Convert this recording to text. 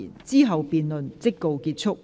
之後辯論即告結束。